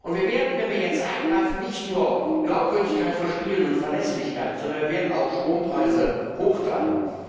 Wir werden, wenn wir jetzt eingreifen, nicht nur Glaubwürdigkeit verspielen und Verlässlichkeit, sondern wir werden auch die Strompreise hochtreiben.